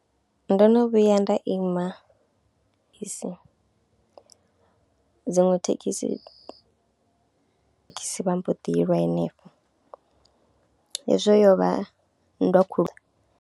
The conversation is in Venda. Ndo no vhuya nda ima bisi dziṅwe thekhisi thekhisi vha mbo ḓi lwa hanefho, hezwo yo vha nndwa khulu.